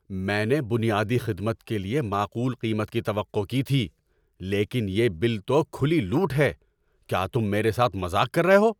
میں نے بنیادی خدمت کے لیے معقول قیمت کی توقع کی تھی، لیکن یہ بل تو کھلی لوٹ ہے! کیا تم میرے ساتھ مذاق کر رہے ہو؟